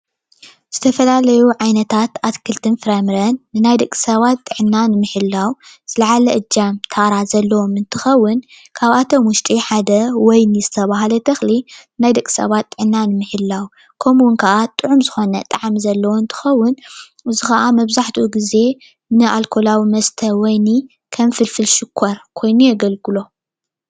ዝተፈላለዩ ዓይነታት ኣትክልትን ፍራምረን ናይ ደቂ ሰባት ጥዕና ንምሕላው ዝላዓለ እጃምን ታራ ዘለዎን እንትከውን ካብኣቶም ውሽጢ ሓደ ወይኒ ዝተባሃለ ተክሊ ናይ ደቂ ሰባት ጥዕና ምሕላው ከምኡ ከኣ ጥዑም ዝኮነ ጣዕሚ ዘለዎን እንትከውን እዚ ከዓ መብዛሕትኡ ግዜ ንኣልኮላዊ መስተ ወይኒ ከም ፍልፍል ሽኮር ኮይኑ የገልግሎ፡፡